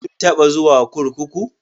Kin taba zuwa kurkuku?